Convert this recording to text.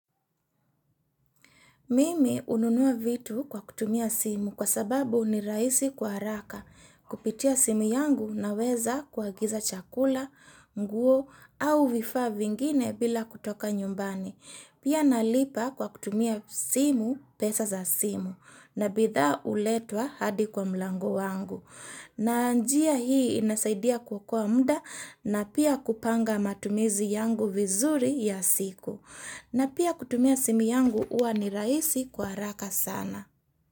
Mimi hununua vitu kwa kutumia simu kwa sababu ni rahisi kwa haraka kupitia simu yangu na weza kuagiza chakula, nguo au vifa vingine bila kutoka nyumbani. Pia nalipa kwa kutumia simu pesa za simu na bidhaa huletwa hadi kwa mlangu wangu. Na njia hii inasaidia kuokoa mda na pia kupanga matumizi yangu vizuri ya siku. Na pia kutumia simu yangu huwa ni raisi kwa haraka sana.